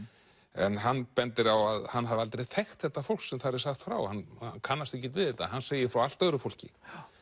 en hann bendir á að hann hafi aldrei þekkt þetta fólk sem þar er sagt frá hann kannast ekkert við þetta hann segir frá allt öðru fólki